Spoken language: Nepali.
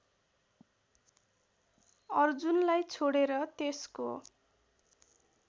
अर्जुनलाई छोडेर त्यसको